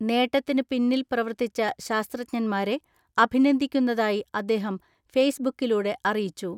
നേട്ടത്തിന് പിന്നിൽ പ്രവർത്തിച്ച ശാസ്ത്രജ്ഞന്മാരെ അഭിനന്ദിക്കുന്നതായി അദ്ദേഹം ഫെയ്സ്ബുക്കിലൂടെ അറിയിച്ചു.